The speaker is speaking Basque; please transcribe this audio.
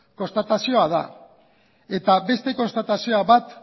konstatazioa da eta beste konstatazio bat